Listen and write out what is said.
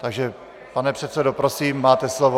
Takže pane předsedo, prosím, máte slovo.